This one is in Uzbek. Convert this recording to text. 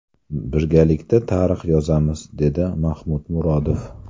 Birgalikda tarix yozamiz”, deydi Mahmud Murodov.